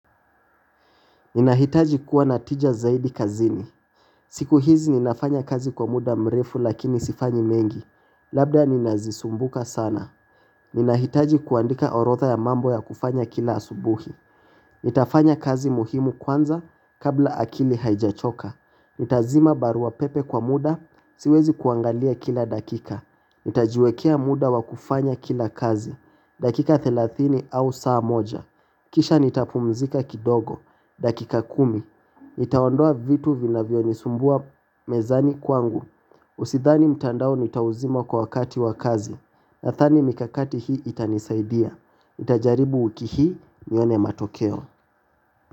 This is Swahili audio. Ninahitaji kuwa natija zaidi kazini. Siku hizi ninafanya kazi kwa muda mrefu lakini sifanyi mengi. Labda ninazisumbuka sana. Ninahitaji kuandika orodha ya mambo ya kufanya kila asubuhi. Nitafanya kazi muhimu kwanza kabla akili haijachoka. Nitazima barua pepe kwa muda, siwezi kuangalia kila dakika. Nitajiwekea muda wa kufanya kila kazi. Dakika thelathini au saa moja. Kisha nitapumzika kidogo. Dakika kumi, nitaondoa vitu vinavyonisumbua mezani kwangu Usidhani mtandao nitauzima kwa wakati wa kazi. Nadhani mikakati hii itanisaidia. Nitajaribu wiki hii nione matokeo.